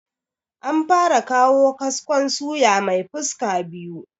An fara kawo kaskon suya mai fuska biyu